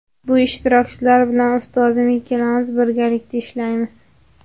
Bu ishtirokchilar bilan ustozim ikkalamiz birgalikda ishlaymiz.